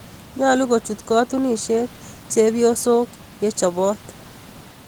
Nyalu kochut katunisyet chepyosok ye chopot